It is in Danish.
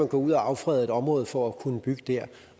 gå ud og affrede et område for at kunne bygge der